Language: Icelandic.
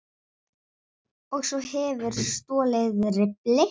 Og svo hefurðu stolið riffli!